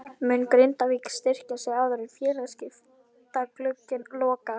Mun Grindavík styrkja sig áður en félagaskiptaglugginn lokar?